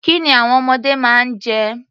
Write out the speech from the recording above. Kí ni àwọn ọmọdé máa ń jẹ?